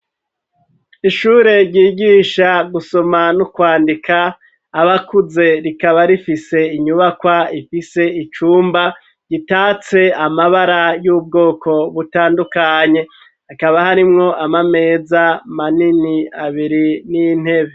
Ishure ryigisha gusoma no kwandika abakuze, rikaba rifise inyubakwa ifise icumba gitatse amabara y'ubwoko butandukanye hakaba harimwo ama meza manini abiri n'intebe.